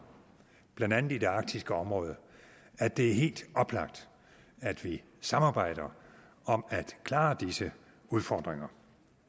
blandt andet i det arktiske område at det er helt oplagt at vi samarbejder om at klare disse udfordringer